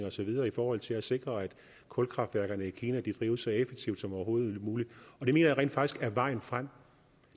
og så videre i forhold til at sikre at kulkraftværkerne i kina drives så effektivt som overhovedet muligt og det mener jeg rent faktisk er vejen frem